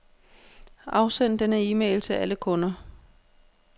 Afsend denne e-mail til alle kunder.